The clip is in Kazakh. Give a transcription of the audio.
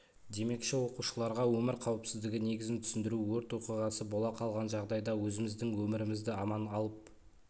демекші оқушыларға өмір қауіпсіздігі негізін түсіндіру өрт оқиғасы бола қалған жағдайда өзіміздің өмірімізді аман алып